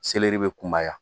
Seleri bɛ kunbaya